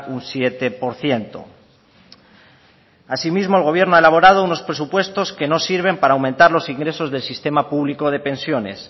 un siete por ciento asimismo el gobierno ha elaborado unos presupuestos que no sirven para aumentar los ingresos del sistema público de pensiones